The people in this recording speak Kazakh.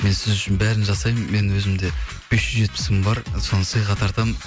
мен сіз үшін бәрін жасаймын мен өзімде бес жүз жетпіс мың бар соны сыйға тартамын